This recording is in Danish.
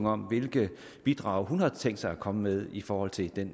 om hvilke bidrag hun har tænkt sig at komme med i forhold til den